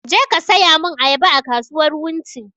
Je ka saya mun ayaba a kasuwar wunti!